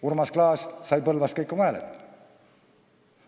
Urmas Klaas sai Põlvas kõik oma hääled.